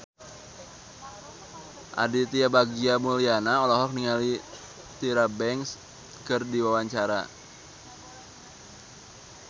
Aditya Bagja Mulyana olohok ningali Tyra Banks keur diwawancara